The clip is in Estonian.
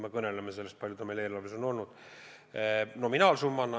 Ma pean silmas seda, kui suur meie eelarves on olnud selle nominaalsumma.